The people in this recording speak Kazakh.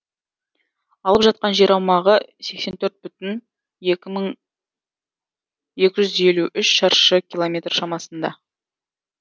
алып жатқан жер аумағы сексен төрт бүтін екі жүз елу төрт шаршы километр шамасында